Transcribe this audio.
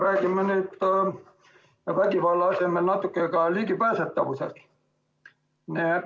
Räägime nüüd vägivalla asemel natuke ka ligipääsetavusest.